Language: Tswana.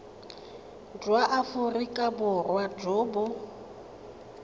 jwa aforika borwa jo bo